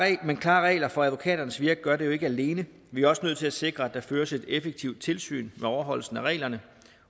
men klare regler for advokaternes virke gør det jo ikke alene vi er også nødt til at sikre at der føres et effektivt tilsyn med overholdelse af reglerne